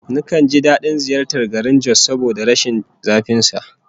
Nakan ji dadin ziyartar garin Jos saboda rashin zafin sa